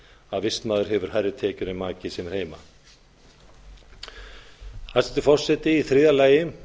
að vistmaður hefur hærri tekjur en maki sem er heima hæstvirtur forseti í þriðja lagi